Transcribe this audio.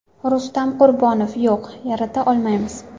Rustam Qurbonov: Yo‘q, yarata olmaymiz.